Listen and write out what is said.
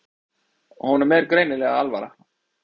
Honum er greinilega alvara.